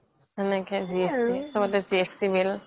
সেনেকে GST